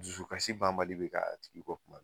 Dusukasi banbali bɛ k'a a tigi kɔ kuma bɛɛ